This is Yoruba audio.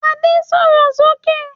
Ade sọ̀rọ̀ sókè!